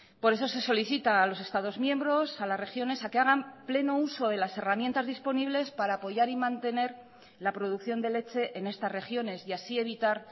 por eso se solicita a los estados miembros a las regiones a que hagan pleno uso de las herramientas disponibles para apoyar y mantener la producción de leche en estas regiones y así evitar